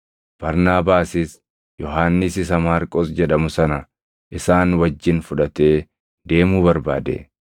Barnaabaasis Yohannis isa Maarqos jedhamu sana isaan wajjin fudhatee deemuu barbaade.